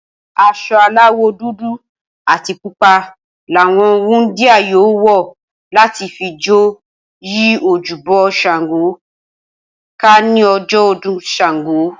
As̩o̩ aláwò̩ dúdú àti pupa làwo̩n wúndíá yóò wò̩ láti fi jó yí ojúbo̩ S̩àngó ká ní o̩jo̩ o̩dún S̩àngó